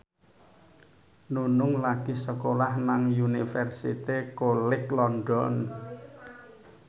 Nunung lagi sekolah nang Universitas College London